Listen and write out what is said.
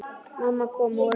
Mamma kom og reyndi.